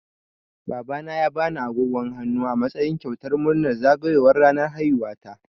Babana ya bani agogon hannu a matsayin kyautar murnar zagayowar ranar haihuwata.